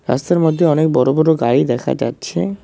রাস্তার মধ্যে অনেক বড়ো বড়ো গাড়ি দেখা যাচ্ছে।